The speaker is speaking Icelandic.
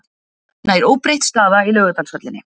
Nær óbreytt staða í Laugardalshöllinni